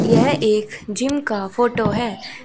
यह एक जिम का फोटो है।